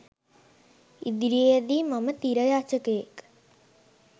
ඉදිරියේදී මම තිර රචකයෙක්